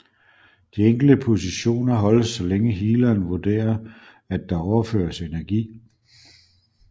De enkelte positioner holdes så længe healeren vurderer at der overføres energi